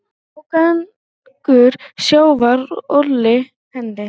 Ágangur sjávar olli henni.